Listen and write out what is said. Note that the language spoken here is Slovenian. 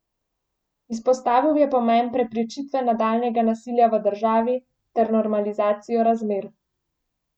Izpostavil je pomen preprečitve nadaljnjega nasilja v državi ter normalizacijo razmer.